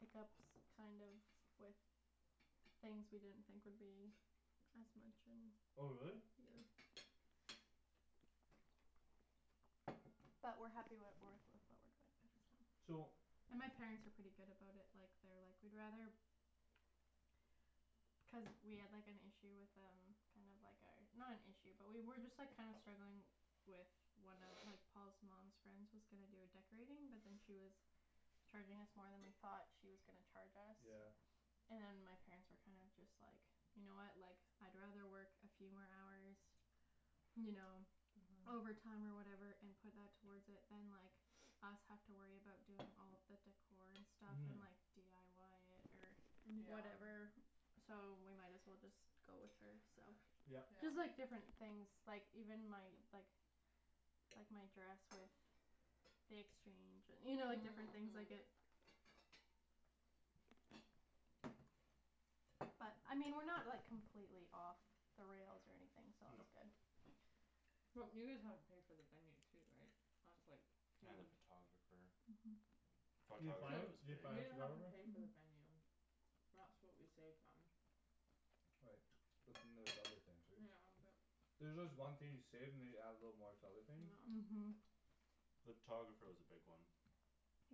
hiccups kind of with things we didn't think would be as much and oh really? yeah but we're happy with with what we're so and my parents are pretty good about it like they're like we'd rather cuz we had like an issue with um kinda like our not an issue but we were just like kinda struggling with one of like Paul's mom's friend's was gonna do a decorating but then she was charging us more than we thought she was gonna charge yeah us and my parents were kind of just like you know what like I'd rather work a few more hours you know uh-huh overtime or whatever and put that towards it than like us have to worry about doing all the decor and stuff uh-huh and like dyi it or yeah whatever so we might as well just go with her so yup yeah just like different things like even my like like my dress with the exchange and you know different things like it uh-huh but I mean we're not like completely off the rails or anything so no that's good well you guys have to pay for the venue too right that's like huge and the photographer uh-huh photographer was big we didn't have to pay for the uh-huh venue that's what we saved on right but then there's other things right yeah but there's just one thing you save and they you add a little more to other things yeah uh-huh the photographer was a big one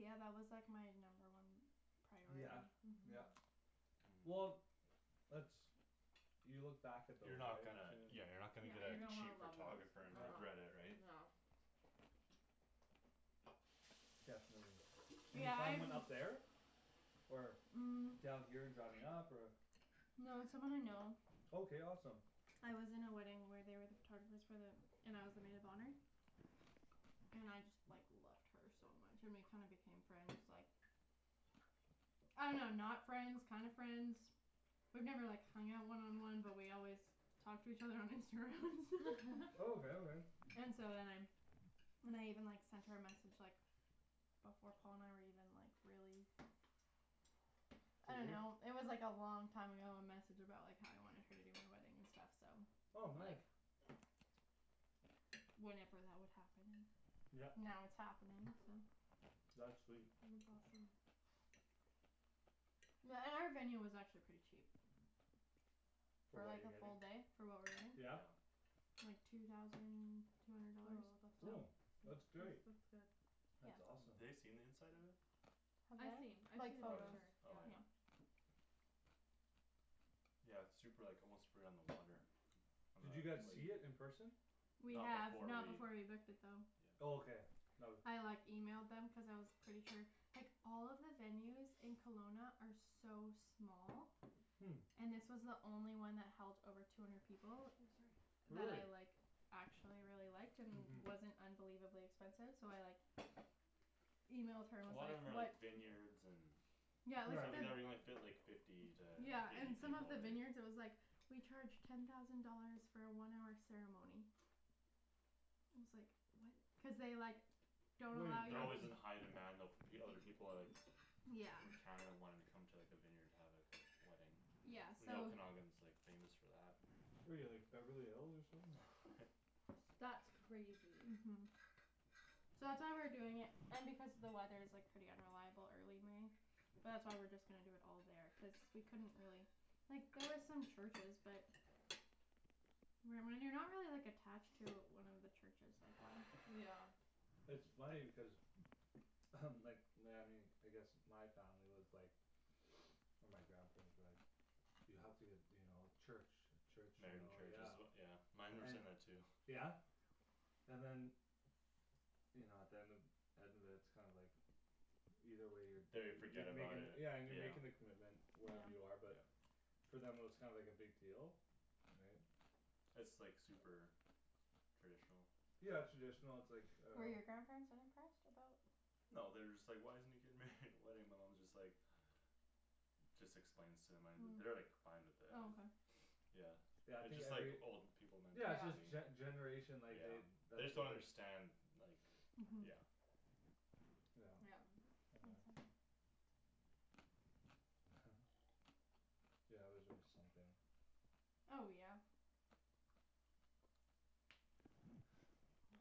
yeah that was like my number one yeah priority yeah uh-huh uh-huh well that's you look back at those you're not right gonna yeah you're too not gonna yeah get you're a gonna wanna cheap love those photographer uh- and uh yeah regret it right yeah definitely, did you yeah find I've one up there or, um down here and driving up or No it's someone I know okay awesome I was in a wedding where they were the photographers for the and I was the maid of honor and I just like loved her so much and we kinda became friends like I don't know not friends kinda friends we've never like hung out one on one but we always talk to each other on Instagram and stuff oh okay okay and so then I then I even like sent her a message like before Paul and I were even like really I don't serious know it was like a long time ago a message about like how I wanted her to do my wedding and stuff so oh like nice Whenever that would happen and yep now it's happening so that's sweet that's awesome Yeah and our venue was actually pretty cheap for for what like you're a getting, full day for what we're yeah yeah getting like two thousand two hundred oh dollars that's oh not yeah that's that's great that's good that's yeah awesome ha- they seen the inside of it Have they? I've seen I've seen Like the oh photos picture yeah yeah oh yeah yeah yeah its super like almost right on the water on the did you lake guys see it in person? we not have before we not before we booked it though yeah oh okay no- I like emailed them cuz I was pretty sure like all of the venues in Kelowna are so small hm and this was the only one that held over two hundred people oh sorry that I really like actually really liked and uh-huh wasn't unbelievably expensive so I like emailed her a and was lot of them like are what like vineyards and yeah so they like the fit like fifty to yeah and eight some of people all the right vineyards it was like we charge ten thousand dollars for a one hour ceremony and I was like what cuz they like don't wait allow they're that alway you was in to high demand though fo- other people are like yeah in Canada wanting to come to like a vineyard to have like a wedding yeah and so the Okanagan's like famous for that where you like Beverly Hills or something that's crazy uh-huh so that's why we're doing it and because the weather is like pretty unreliable early May but that's why we're just gonna do it all there cuz we couldn't really like there was some churches but when when you're not really like attached to one of he churches like why yeah it's funny because like I guess my family was like or my grandparents were like you have to get you know church a church you married in know church is yeah as yeah mine were and saying that too yeah and than you know at the end end of it its kinda like either way you're da- they you're forget you're about making it yeah and you're yeah making the commitment yeah wherever you are but yeah for them it was kinda like a big deal right its like super traditional yeah traditional its like uh Were your grandparents unimpressed about no they're just like why isn't he getting married in a wedding my mom is just like just explains to them an- they're like hm fine with oh it okay yeah yeah I its think just like every old people yeah its just mentality yeah gene- generation like they yeah they that's just don't what their understand like uh-huh yeah yeah yeah yeah yeah there's always something oh yeah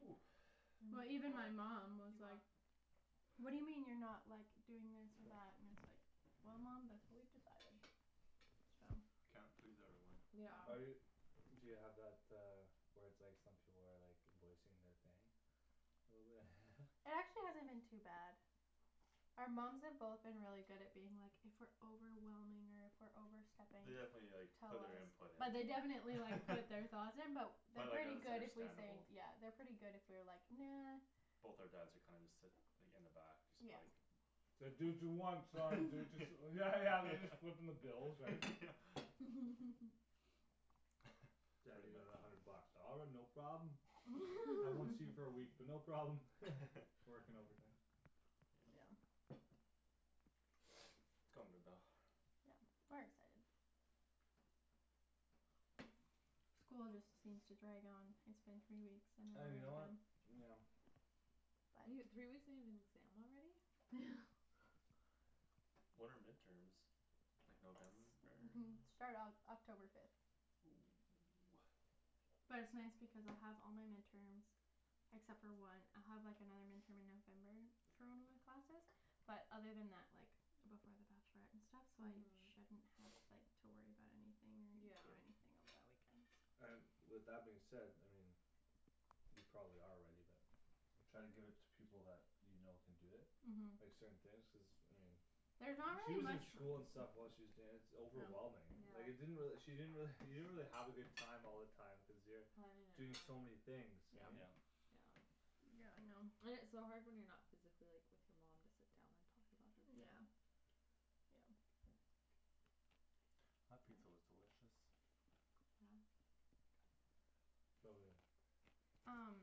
ooh even well even my before mom was do you want like whad do you mean you're not like doing this or sure that and it's like well mom thats what we've decided so can't please everyone yeah yeah are you do you have that uh where its like some people are like voicing their thing a little bit It actually hasn't been too bad our moms have both been really good at being like if we're overwhelming or if we're overstepping they definitely like tell put their us input in but they definitely like put their thoughts in but but they're like yeah pretty there's good if we say understandable yeah they're pretty good if we're like "nah" both our dads are kinda just sit like in the back just yeah like its like do what you want son do whats yeah yeah yeah they're just footing the bill yeah right yeah daddy I pretty need much another hundred bucks "all right no problem" I won't see you for a week but no problem working overtime yeah its coming about yep we're excited school just seems to drag on it's been three weeks and you and we're know done what yeah you n- three weeks and you have an exam already when are midterms like November it start Oc- October fifth oh ah but it's nice because I'll have all my midterms except for one I'll have like another midterm in November for one of my classes but other than that like before the bachelorette and stuff so I uh-huh shouldn't have like to worry about anything or do anything over yeah that weekend so and with that being said I mean you probably are ready but try to give it to people that you know can do it like uh-huh certain things cuz I mean there's not she really was in much school and stuff while she was danc- overwhelming like it yeah didn't really she didn't really you didn't really have a good time all the time cuz you're planning it and doing all so many things right yeah yep yeah yeah I know and its so hard when you're not physically like with your mom to sit down and talk about everything yeah yeah that pizza was yeah delicious yeah so good um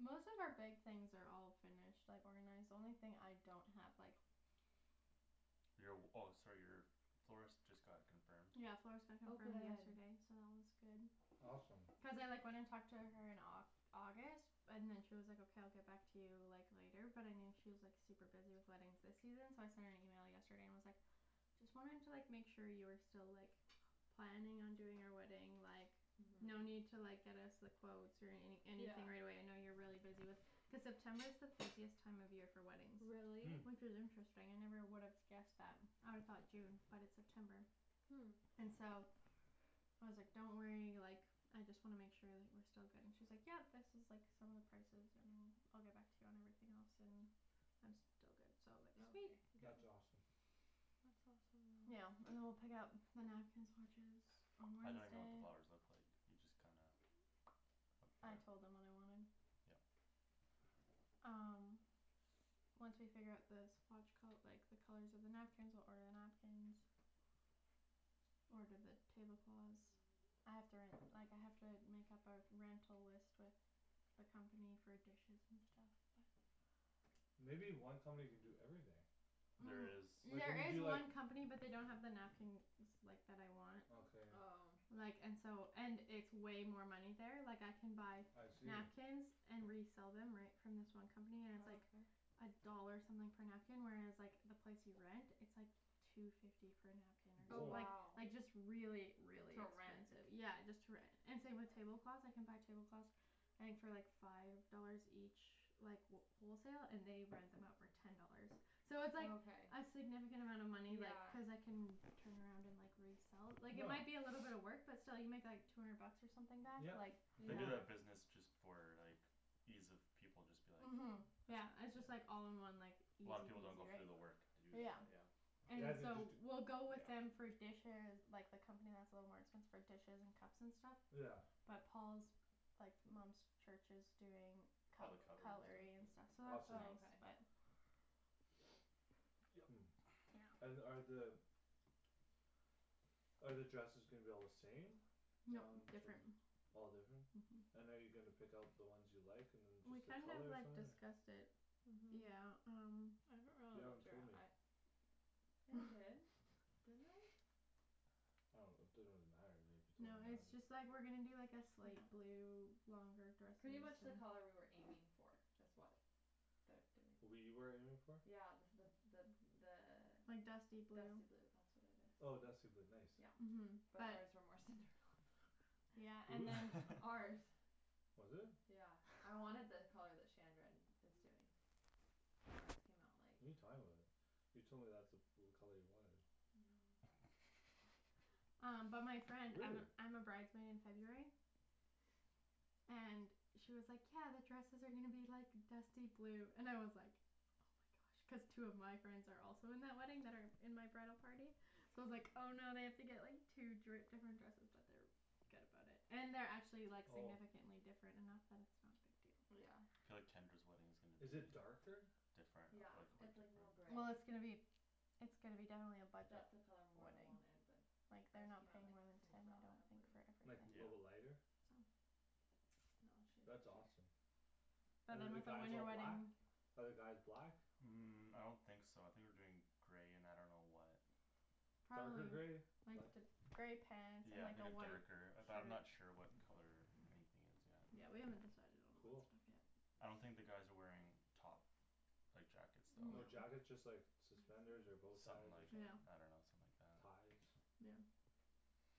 most of our big things are all finished like organized the only thing I don't have like your w- oh sorry your florist just got confirmed yeah florist got oh confirmed good yesterday so that one's good awesome cuz I like went and talked to her in like Au- August and then she was like okay I'll get back to you like later but I knew she was like super busy with weddings this season so I sent an email yesterday and was like just wanting to like make sure you were still like planning on doing our wedding like no uh-huh need to like get us the quotes or any yeah anything right away I know you're really busy with cuz September is the busiest time of year for weddings really hm which is interesting I never would have guessed that I'd've thought June but it's September hm and so I was like don't worry like I just wanna make sure like we're still good and she's like yep this is like some of the prices and I'll get back to you on everything else and I'm still but good okay so like sweet that's awesome really yeah and then we'll pick out the napkin swatches on I don't even know what the Wednesday flowers look like you just kinda I with the told them what I wanted yup um once we figure out the swatch col- like the colors of the napkins we'll order the napkins order the tablecloths I have to ren- like I have to make up our rental list with the company for dishes and stuff but maybe one company can do everything there is um like when there you is do like one company but they don't have the napkins like that I want okay oh like and so and it's way more money there like I can buy I see napkins and resell them right from this one company and its oh like okay a dollar something per napkin whereas like the place you rent it's like two fifty per napkin or some- oh or woah like wow like just really really to rent expensive yeah just to rent and same with tablecloths I can buy tablecloths I think for like five dollars each like wh- wholesale and they rent them out for ten dollars so oh it's like okay a significant amount of money like yeah cuz I can turn around and like resell like it yeah might be a little bit of work but still you make like two hundred bucks or something back yep like they do totally yeah yeah that business just for like ease of people just be like uh-huh yeah yeah it's just like all in one like A lot of people easy don't go through the peasy work to do that right yeah yeah and yeah they just so d- we'll go with them yeah for dishes like the company that's a little more expensive for dishes and cups and stuff yeah but Paul's like mom's church is doing all the cut- cutlery and cutlery and stuff stuff yeah awesome so oh okay that's nice but hm and are the are the dresses gonna be all the same? nope different all different uh-huh and are you gonna pick out the ones you like and then we just the kind of colors or like something discussed it yeah uh-huh um you haven't told me I did didn't I I don't it doesn't really matter to me you no told me it's or just like not we're gonna do like a slate yeah blue longer dresses pretty much the color we were aiming for is what their doing we were aiming for? yeah the the the like dusty the blue dusty blue that's what it is oh dusty blue nice yeah uh-huh but but ours were more Cinderella blue yeah who's? and then ours was it? yeah I wanted the color that Shandryn is doing but ours came out like what're you talking about you told me that's the blue color you wanted no um but my friend I'm really? a I'm a bride's maid in it's okay February and she was like "yeah the dresses are gonna be like dusty blue" and I was like oh my gosh cuz two of my friends are also in that wedding that are in my bridal party so I was like "oh no I have to like get two dri- different dresses" but they're good about it and they're actually like oh significantly different enough that it's not a big deal but yeah yeah I feel like Tendra's wedding is gonna be is it darker? different yeah ah like quit it's like more different gray well it's gonna be it's gonna be definitely a budget that's the color more I wedding wanted but like they're ours not came out paying like more than ten I don't Cinderella think for blue like a yeah little bit everything I lighter think so no I'll show that's you a awesome picture but and then than the with a guys winter all black ? wedding are the guys black? um I don't think so I think we're doing gray and I don't know what darker gray probably like light th- gray pants and yeah I like think a a white darker shirt but I'm not sure what color anything is yet yeah we haven't decided on all that cool stuff yet I don't think the guys are wearing top like jackets though no no jackets just like suspenders or bowties something or like something yeah I don't know something like that ties yeah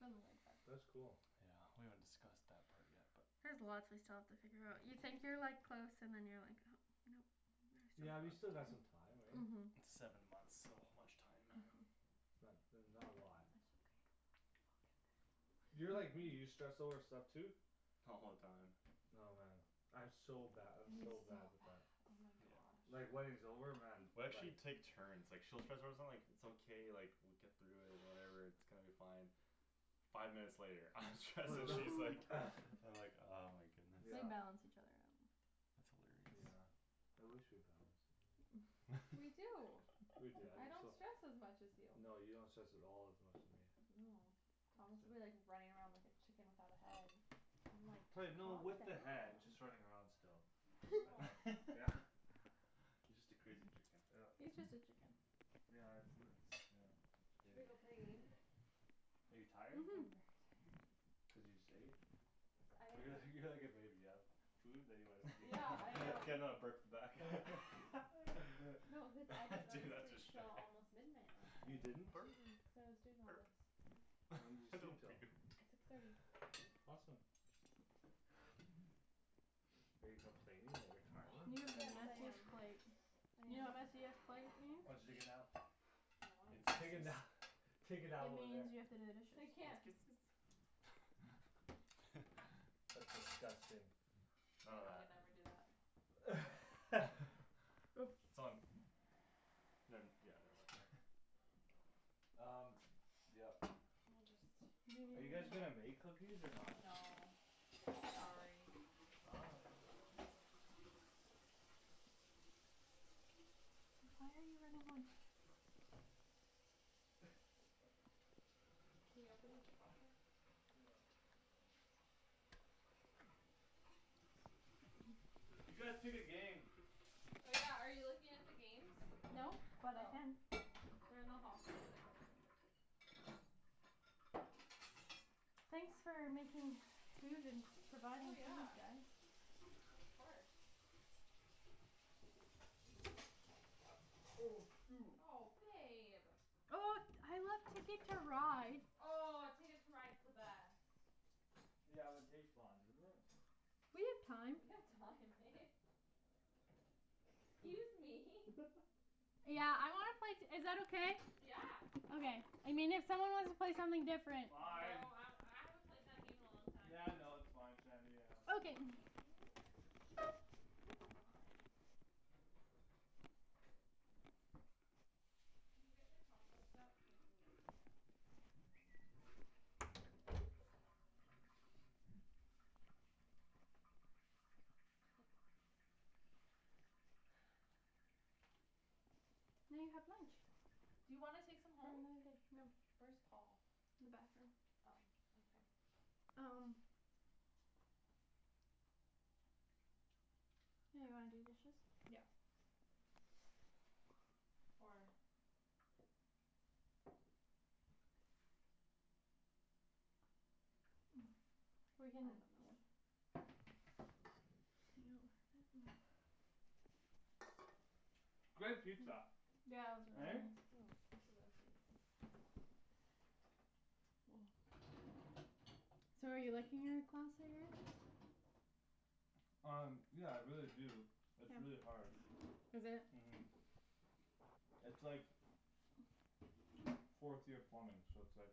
something like that that's cool yeah we haven't discussed that part yet but there's lots we still have to figure out you think you're like close and then you're like oh no yeah you there's still still got lots some time right? uh-huh seven months so much time uh-huh it's not that's not a lot that's okay we'll get there you're like me you stress over stuff too? all the time oh man I'm so bad I'm he's so so bad bad with oh that yeah my God like wedding's over man we like actually take turns like she'll stress out about like its okay like we'll get through it and whatever its gonna be fine five minutes later I'm stressed she's like I'm like oh my goodness we yeah balance each other out that's hilarious yeah I wish we balanced we do we do I'm I just don't so stress as much as you no you don't stress at all as much as me no Thomas'll be like running around like a chicken without a head I'm like pla- calm no down with the head just running around still no okay yeah you just a crazy chicken yup yeah its the its yeah its should we go crazy play a game are you I'm tired very uh-huh tired cuz you just ate cuz I didn't you're like go you're like a baby you've food then you wanna sleep yeah I can uh now burp the back no cause I didn't go to sleep till almost midnight last you night didn't? burp cuz I was doing all burp this when did you sleep don't till? puke six thirty awesome are you complaining that you're you go tired have to the yes the I am messiest washroom plates I you am know what complaining messiest plate very oh did means? hard you take a nap I means wanted to take a this nap take It a nap over there means you have to do the I dishes can't that's disgusting none of yeah we that never do that its on ne- yeah never mind laughs] um yup we'll just are you guys gonna make cookies or not? no sorry why are you running away? can you open the dishwasher yeah you guys pick a game oh yeah are you looking at the games no but I oh can they're in the hall closet thanks for making food and oh providing food yeah guys of course oh shoot oh babe oh I like TIcket to Ride oh Ticket to Ride's the best yeah but it takes long doesn't it we have time we have time babe excuse me yeah I wanna play t- is that okay? yeah okay I mean if someone wants to play something different oh fine I I haven't played that game in a long time yeah no its fine Shandy yeah okay k can you what can you get the compost out now you have lunch do you wanna take some for home? another day no where's Paul? in the bathroom oh okay um yeah you wanna do dishes? yeah or we're I don't know yo that great pizza yeah it was right? really oh this is empty so are you liking your class that you're in? um yeah I really do its really hard is it? uh-huh its like fourth year plumbing so its like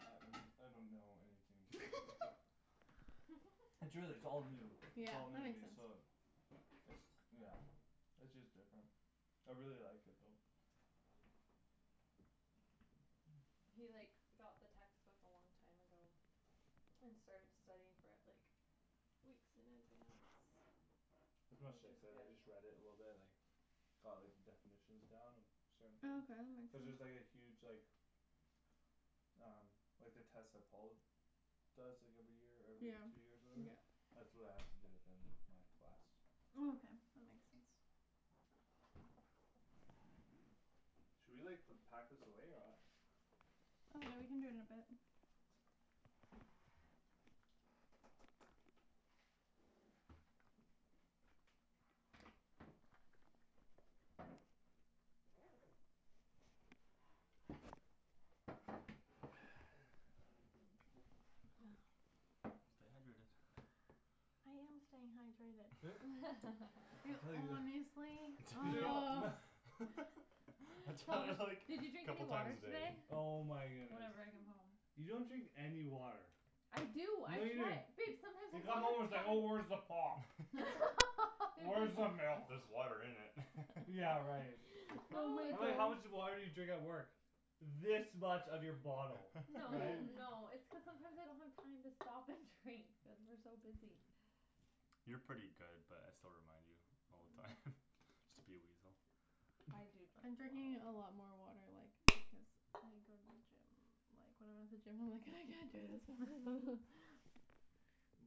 I I don't know anything its a its really its all new yeah its all new that to makes me sense so its yeah its just different I really like it though He like got the textbook a long time ago and started studying for it like weeks in advance which is I good just read it a little bit like got like the definitions down and certain things oh okay that cuz there's makes like a sense huge like um like the test that Paul does like every year or yeah every two years or whatever yeah that's what I have to do at the end of my class oh okay that makes sense should we like put pack this away or what oh yeah we can do it in a bit stay hydrated you I tell you wh- oh I Paul tell Paul her is like did "did you you drink drink any couple any a time water water a today? day today?" oh my goodness whenever I come home you don't drink any water I do I no you don't try babe you come home its sometimes like oh where's the I pop babe there's where's the just just milk there's water in it yeah right oh no I was my like how much it's gosh just water did you drink at work this much of your bottle no right no it's cuz sometimes I don't have time to stop and drink cuz we're so busy you're pretty good but I still remind you all the time just to be a weasel I do I'm drink drinking a lot more like because I go to the gym like when I'm at the gym I'm like "I can't do this water"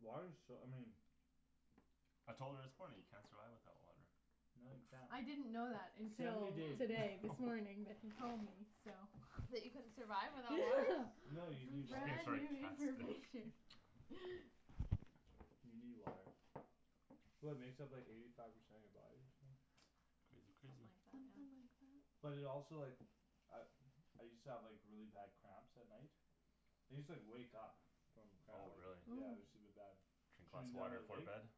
water's so I mean I told her this morning you can't survive without water No you can't I didn't know that until seventy days today this morning that he told me so that you couldn't survive without water no you need water brand new information you need water well it makes up like eighty five percent of you body or something crazy something crazy like that something yeah like that but it also like I I used to have like really bad cramps at night I used to like wake up from cramp oh really yeah it use to be oh bad drink lots shooting a down water my before leg bed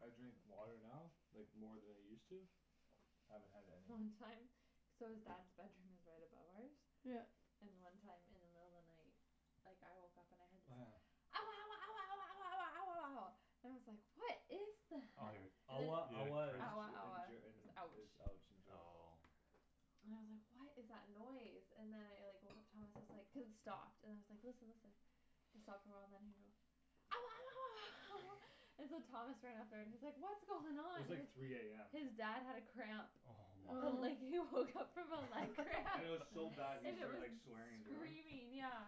I drink water now like more than I use to haven't had any long time so his dad's bedroom is right above ours yup and one time in the middle of the night like I woke up and I heard this oh yeah ouah ouah ouah ouah ouah ouah ouah ouah ouah and I was like what is oh you're that and then ouah he ouah is had ouah cramps Ger in ouah Ger in is is ouch ouch in German oh and I was like what is that noise and then I like woke up Thomas is like cuz it stopped and then I was like listen listen it stopped a while and then he goes ouah ouah ouah and so Thomas ran up there and he's like what's going it on was like three am his dad had a cramp oh my and like oh he woke up from a leg cramp and and it it was was so bad he and it started like was swearing in German screaming yeah